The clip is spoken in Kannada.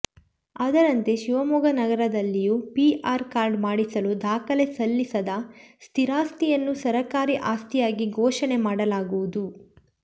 ಅದರಂತೆ ಶಿವಮೊಗ್ಗ ನಗರದಲ್ಲಿಯೂ ಪಿಆರ್ ಕಾರ್ಡ್ ಮಾಡಿಸಲು ದಾಖಲೆ ಸಲ್ಲಿಸದ ಸ್ಥಿರಾಸ್ತಿಯನ್ನು ಸರಕಾರಿ ಆಸ್ತಿಯಾಗಿ ಘೋಷಣೆ ಮಾಡಲಾಗುವುದು